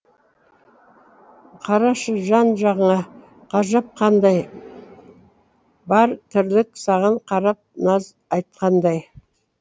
қарашы жан жағыңа ғажап қандай бар тірлік саған қарап наз айтқандай